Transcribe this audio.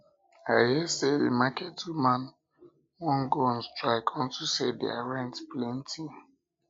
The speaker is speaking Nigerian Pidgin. i hear say the market women wan go on strike unto say their rent plenty